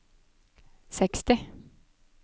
seksti